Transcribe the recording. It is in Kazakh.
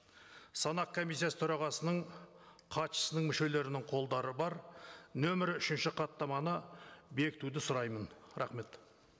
санақ комиссиясы төрағасының хатшысының мүшелерінің қолдары бар нөмір үшінші хаттаманы бекітуді сұраймын рахмет